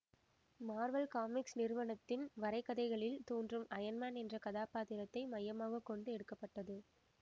Marvel Comics நிறுவனத்தின் வரைகதைகளில் தோன்றும் அயன் மேன் என்ற கதாபாத்திரத்தை மையமாக கொண்டு எடுக்க பட்டது